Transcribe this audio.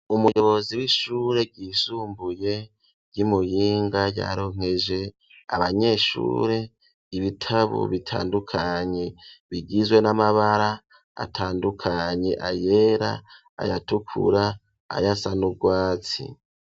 Umuyobozi w'ishure ryisumbuye ry'imuyinga yaronkeje abanyeshure ibitabu bitandukanye bigizwe n'amabara atandukanye ayera, ayatukura, ayasa n’ubwatsi.